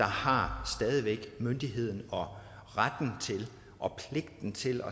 har myndigheden og retten til og pligten til